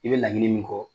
I bɛ laɲini min kɔ